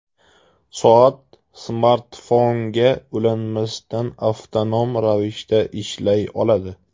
Soat smartfonga ulanmasdan, avtonom ravishda ishlay oladi.